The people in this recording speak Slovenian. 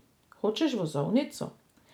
Hočeš vozovnico?